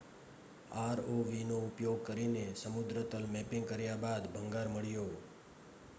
આરઓવીનો ઉપયોગ કરીને સમુદ્રતલ મૅપિંગ કર્યા બાદ ભંગાર મળ્યો